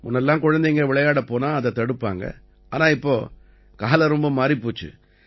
முன்ன எல்லாம் குழந்தைங்க விளையாடப் போனா அதை தடுப்பாங்க ஆனா இப்ப காலம் ரொம்ப மாறிப் போச்சு